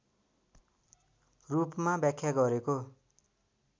रूपमा व्याख्या गरेको